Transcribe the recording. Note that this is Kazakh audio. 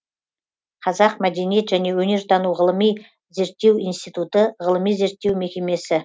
қазақ мәдениет және өнертану ғылыми зерттеу институты ғылыми зерттеу мекемесі